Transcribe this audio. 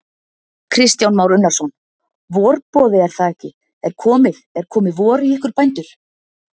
Kristján Már Unnarsson: Vorboði er það ekki, er komið, er komið vor í ykkur bændur?